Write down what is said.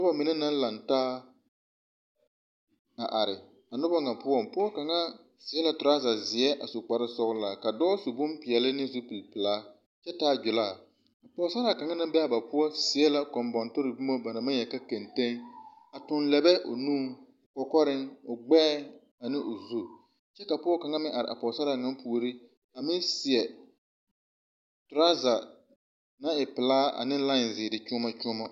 Noba mine naŋ lantaa a are a noba ŋa poɔŋ pɔge kaŋa seɛ la toraza zeɛ a su kpar sɔgelaa ka dɔɔ su bompeɛle ne zupile pelaakyɛ taa gilaa pɔsaraa kaŋa naŋ be a ba poɔŋ seɛ la kɔmbɔnne pore boma ba na naŋ boɔle ka kɛnteŋeŋ a tuŋ lɛɛbɛ o nuŋ kɔkɔreŋ o gbɛɛŋ ane o zu kyɛ ka pɔge kaŋ mine are a pɔsaraa puoriŋ aeŋ seɛ toraaza naŋ e pelaa ane lae zeere kyuoma kyuoma